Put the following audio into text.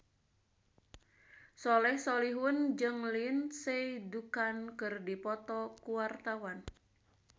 Soleh Solihun jeung Lindsay Ducan keur dipoto ku wartawan